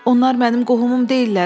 Onlar mənim qohumum deyillər.